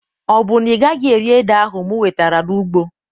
Ọ bụ na ị gaghị eri ede ahụ m wetere n'ugbo?